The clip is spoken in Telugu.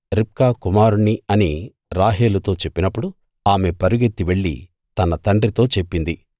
రిబ్కా కుమారుణ్ణి అని రాహేలుతో చెప్పినప్పుడు ఆమె పరుగెత్తి వెళ్లి తన తండ్రితో చెప్పింది